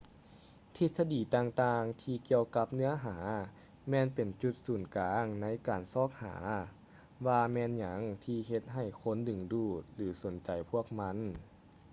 ທິດສະດີຕ່າງໆທີ່ກ່ຽວກັບເນື້ອຫາແມ່ນເປັນຈຸດສູນກາງໃນການຊອກຫາວ່າແມ່ນຫຍັງທີ່ເຮັດໃຫ້ຄົນດຶງດູດ ຫຼື ສົນໃຈພວກມັນ